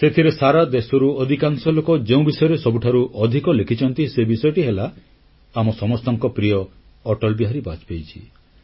ସେଥିରେ ସାରା ଦେଶରୁ ଅଧିକାଂଶ ଲୋକ ଯେଉଁ ବିଷୟରେ ସବୁଠାରୁ ଅଧିକ ଲେଖିଛନ୍ତି ସେ ବିଷୟଟି ହେଲା ଆମ ସମସ୍ତଙ୍କ ପ୍ରିୟ ଅଟଳ ବିହାରୀ ବାଜପେୟୀଜୀ